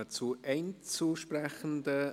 Wir kommen zu den Einzelsprechenden;